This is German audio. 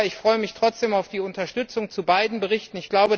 Aber ich freue mich trotzdem auf die Unterstützung zu beiden Berichten.